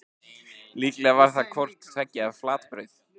Líklega var það hvort tveggja flatbrauð.